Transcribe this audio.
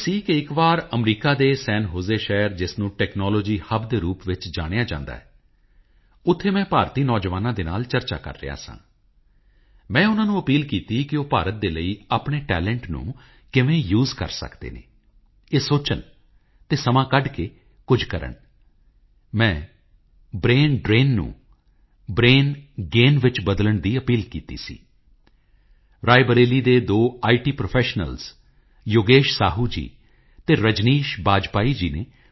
1942 ਚ ਸੁਭਾਸ਼ ਬਾਬੂ ਨੇ ਆਜ਼ਾਦ ਹਿੰਦ ਰੇਡੀਓ ਦੀ ਸ਼ੁਰੂਆਤ ਕੀਤੀ ਸੀ ਅਤੇ ਰੇਡੀਓ ਦੇ ਮਾਧਿਅਮ ਰਾਹੀਂ ਉਹ ਆਜ਼ਾਦ ਹਿੰਦ ਫੌਜ ਦੇ ਸੈਨਿਕਾਂ ਨਾਲ ਅਤੇ ਦੇਸ਼ ਦੇ ਲੋਕਾਂ ਨਾਲ ਸੰਵਾਦ ਕਰਿਆ ਕਰਦੇ ਸਨ ਸੁਭਾਸ਼ ਬਾਬੂ ਦਾ ਰੇਡੀਓ ਉੱਪਰ ਗੱਲਬਾਤ ਕਰਨ ਦਾ ਇਕ ਵੱਖਰਾ ਹੀ ਅੰਦਾਜ਼ ਸੀ ਉਹ ਗੱਲਬਾਤ ਸ਼ੁਰੂ ਕਰਦੇ ਹੋਏ ਸਭ ਤੋਂ ਪਹਿਲਾਂ ਕਿਹਾ ਕਰਦੇ ਸਨ this is Subhash Chandra Bose speaking to you over the Azad Hind radio ਅਤੇ ਇੰਨਾ ਸੁਣਦਿਆਂ ਹੀ ਸਰੋਤਿਆਂ ਵਿੱਚ ਜਿਵੇਂ ਇੱਕ ਨਵਾਂ ਜੋਸ਼ ਇੱਕ ਨਵੀਂ ਊਰਜਾ ਦਾ ਸੰਚਾਰ ਹੋ ਜਾਂਦਾ